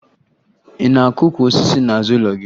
Ị na-akụ ukwu osisi n'azụ ụlọ gị?